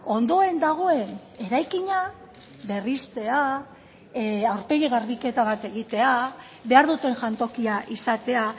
ondoen dagoen eraikina berristea aurpegi garbiketa bat egitea behar duten jantokia izatea